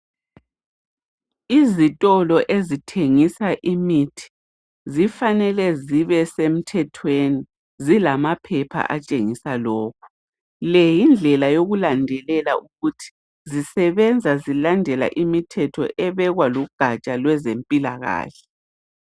Izitolo ezithengisa imithi zifanele zibe semthethweni zilamaphepha atshengisa lokho. Le yindlela yokulandelela ukuthi zisebenza zilandela imithetho ebekwa lugatsha lwezempilakahle.